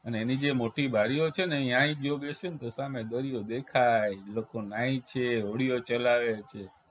અને એની જે મોટી બારીઓ છે ને ઈયાય જો બેસીએને તો સામે દરિયો દેખાય લોકો નાહી છે હોડીઓ ચલાવે છે